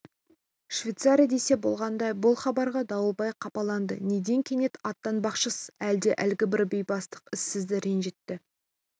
швейцария десе болғандай бұл хабарға дауылбай қапаланды неден кенет аттанбақшысыз әлде әлгібір бейбастақ іс сізді ренжітті